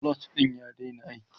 clutch ɗin ya daina aiki